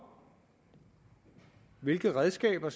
hvilke redskaber